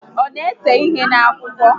Ọ na ese ihe N'Akwụkwọ